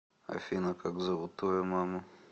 афина как зовут твою маму